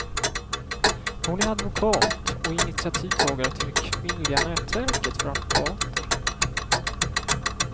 Hon är advokat och initiativtagare till det kvinnliga nätverket för advokater.